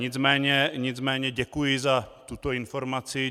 Nicméně děkuji za tuto informaci.